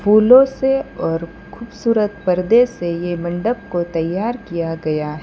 फूलों से और खूबसूरत परदे से ये मंडप को तैयार किया गया है।